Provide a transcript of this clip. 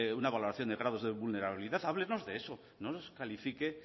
un valoración de grados de vulnerabilidad háblenos de eso no nos califique